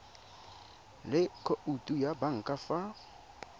le khoutu ya banka fa